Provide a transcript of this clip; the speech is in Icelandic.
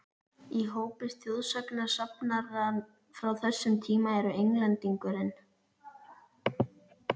Í hópi þjóðsagnasafnara frá þessum tíma eru Englendingurinn